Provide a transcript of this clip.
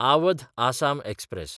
Awadh Assam express